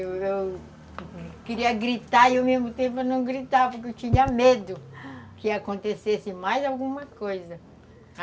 Eu queria gritar, e ao mesmo tempo eu não gritava, porque eu tinha medo que acontecesse mais alguma coisa.